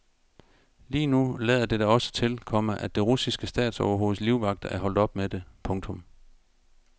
Lige nu lader det da også til, komma at det russiske statsoverhoveds livvagter er holdt op med det. punktum